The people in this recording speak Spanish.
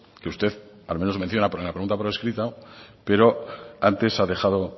que usted al menos menciona pero me lo pregunta por escrito pero antes ha dejado